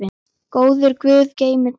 Góður guð geymi þig.